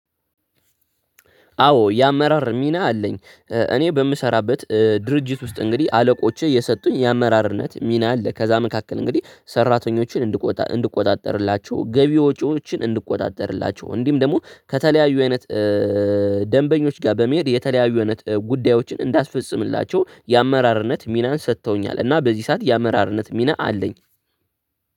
አዎ የአመራር ሚና አለኝ። እኔ በምሰራበት ድርጅት ውስጥ እንግዲህ አለቆቼ የሰጡኝ የአመራርነት ሚና አለ ከዛ መካከል እንግዲህ ሰራተኞችን እንድቆጣጠርላቸው ገቢ ወጪዎችን እንድቆጣጠርላቸው እንዲሁም ደግሞ ከተለያዩ አይነት ደንበኞች ጋር በመሄድ የተለያዩ አይነት ጉዳዮችን እንዳስፈጽምላቸው የአመራርነት ሚናን ሰጥተውኛል እና በዚህ ሰዓት የአመራርነት ሚና አለኝ።